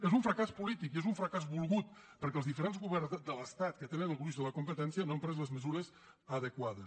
és un fracàs polític i és un fracàs volgut perquè els diferents governs de l’estat que tenen el gruix de la competència no han pres les mesures adequades